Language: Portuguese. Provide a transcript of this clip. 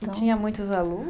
E tinha muitos alunos?